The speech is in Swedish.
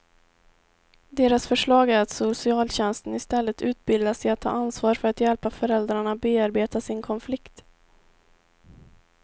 Deras förslag är att socialtjänsten istället utbildas i att ta ansvar för att hjälpa föräldrarna bearbeta sin konflikt.